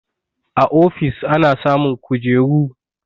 A ofis ana samun kujeru